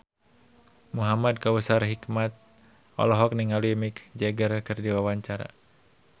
Muhamad Kautsar Hikmat olohok ningali Mick Jagger keur diwawancara